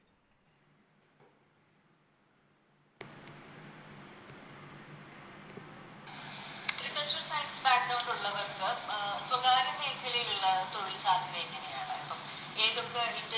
തികച്ചും Science background ഉള്ളവർക്ക് അഹ് സ്വകാര്യ മേഖലയിലുള്ള തൊഴിൽ സാധ്യത എങ്ങനെയാണ് ഇപ്പം ഏതൊക്കെ